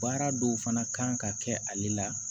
Baara dɔw fana kan ka kɛ ale la